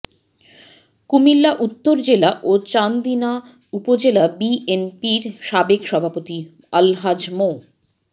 কুমিল্লা উত্তর জেলা ও চান্দিনা উপজেলা বিএনপির সাবেক সভাপতি আলহাজ মো